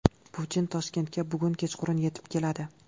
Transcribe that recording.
Putin Toshkentga bugun kechqurun yetib keladi.